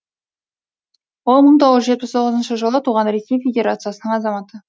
ол мың тоғыз жүз жетпіс тоғызыншы жылы туған ресей федерациясының азаматы